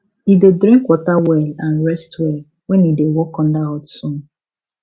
e dey drink water well and rest well when e dey work under hot sun